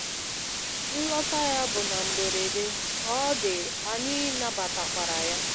Nlọta ya bụ na mgberede, ka ọ dị, anyị nabatakwara ya.